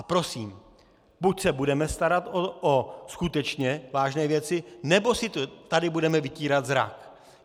A prosím, buď se budeme starat o skutečně vážné věci, nebo si tady budeme vytírat zrak.